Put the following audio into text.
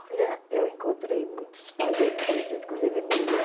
Olha, eu encontrei muitos pajés interessantes, inclusive mulher.